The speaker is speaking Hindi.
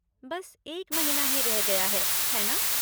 बस एक महीना ही रह गया है, है ना?